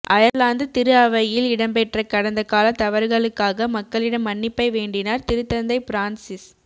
Ireland திருஅவையில் இடம்பெற்ற கடந்த கால தவறுகளுக்காக மக்களிடம் மன்னிப்பை வேண்டினார் திருத்தந்தை பிரான்சிஸ்